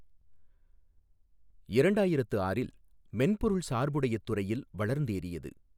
இரண்டாயிரத்து ஆறில் மென்பொருள் சாா்புடையத் துறையில் வளா்ந்தோியது.